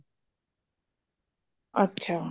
ਅੱਛਾ